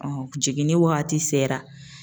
jiginni wagati sera.